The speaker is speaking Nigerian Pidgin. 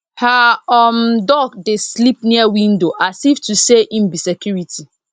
her um duck dey sleep near window as if to say em be security